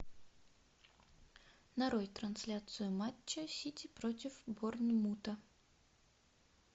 нарой трансляцию матча сити против борнмута